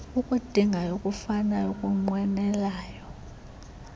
ukudingayo ukufunayo ukunqwenelayo